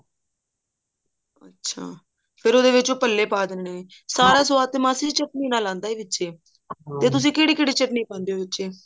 ਅੱਛਾ ਫ਼ੇਰ ਉਹਦੇ ਵਿੱਚ ਉਹ ਭੱਲੇ ਪਾ ਦੇਣੇ ਨੇ ਸਾਰਾ ਸਵਾਦ ਤੇ ਮਾਸੀ ਜੀ ਚਟਨੀ ਨਾਲ ਆਉਂਦਾ ਵਿੱਚ ਤੇ ਤੁਸੀਂ ਕਿਹੜੀ ਕਿਹੜੀ ਚਟਨੀ ਪਾਉਂਦੇ ਹੋ ਵਿਚੇ